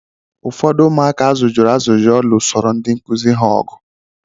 Ụfọdụ ụmụaka azụjọrọ azụjọ lụsoro ndị nkụzi ha ọgụ.